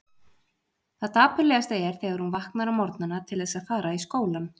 Það dapurlegasta er þegar hún vaknar á morgnana til þess að fara í skólann.